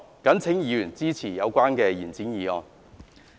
謹請議員支持議案。